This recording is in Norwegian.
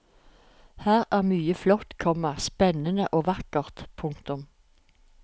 Her er mye flott, komma spennende og vakkert. punktum